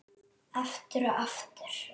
Aftur og aftur.